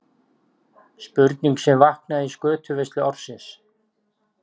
Spurning sem vaknaði í skötuveislu ársins.